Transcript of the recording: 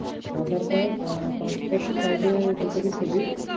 Adhar card আহ passport size এর দু copy ছবি